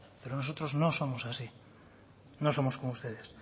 pero nosotros no somos así no somos como ustedes